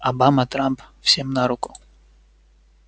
обама трамп всем на руку